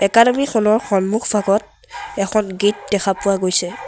Academy খনৰ সন্মুখ ভাগত এখন গেট দেখা পোৱা গৈছে।